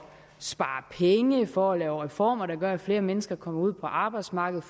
spare penge for at lave reformer der gør at flere mennesker kommer ud på arbejdsmarkedet